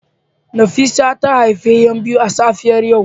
Nefisat ta haifi ' yan biyu a safiyar yau